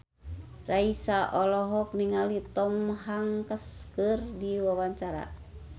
Raisa olohok ningali Tom Hanks keur diwawancara